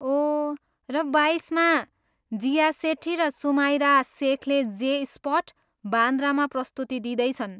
ओह, र बाइसमा, जिया सेठी र सुमाइरा सेखले जे स्पट, बान्द्रामा प्रस्तुति दिँदैछन्।